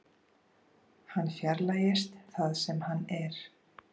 Hann fjarlægist það sem er.